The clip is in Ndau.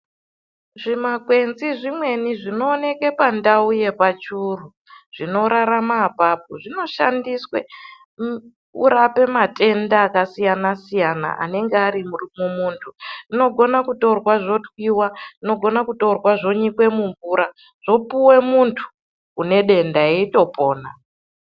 Zvimakwenzi zvimweni zvinooneka pandau yepachuru zvinorarama apapo zvinoshandiswe kurapa matenda akasiyana siyana anenge ari mumuntu, zvinogona kutorwa zvotwiwa, zvinogona kutorwa zvonyikwe mumvura zvopuwa muntu une denda eitopona.